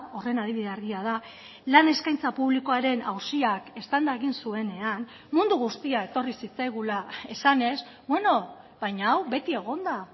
horren adibide argia da lan eskaintza publikoaren auziak eztanda egin zuenean mundu guztia etorri zitzaigula esanez beno baina hau beti egon da